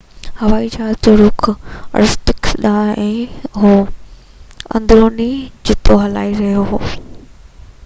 هوائي جهاز جو رُخ ارکوتسڪ ڏانهن هو ۽ اندروني جٿو هلائي رهيو هو